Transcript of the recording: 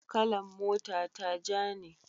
kalan mota ta ja ne